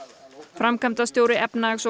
framkvæmdastjóri efnahags og